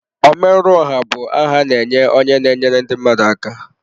Ọmerụọha bụ aha a na-enye onye na-enyere ndị mmadụ aka.